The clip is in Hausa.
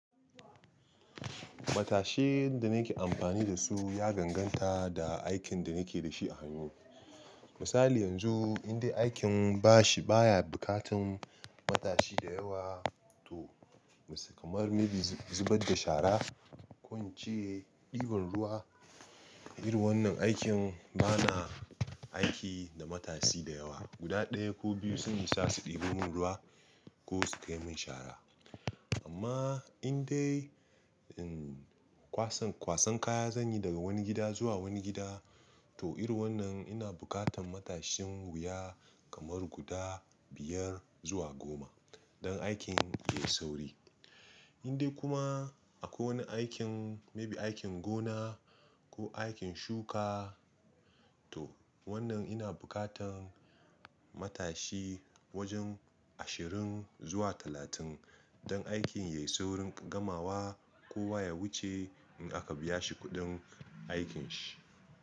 Matashin da nake amfani da su ya ganganta da aikin da nake da shi a hannu. Misali yanzu indai aikin ba shi baya bukatan matashi da yawa to, kamar maybe zubar da shara ko wance ɗiban ruwa, irin wannan aikin bana aiki da matashi da yawa. Guda ɗaya ko biyu sun isa su ɗebo mun ruwa ko su kai mun shara. Amma indai, kwasan, kwasan kaya zanyi daga wani gida zuwa wani gida to irin wannan ina bukatan matashin wuya kamar guda biyar zuwa goma don aikin yayi sauri. Indai kuma akwai wani aikin maybe aikin gona ko aikin shuka to wannan ina bukatan matashi wajen ashirin zuwa talatin don aikin yayi saurin gamawa, kowa ya wuce in aka biya shi kuɗin aikin shi.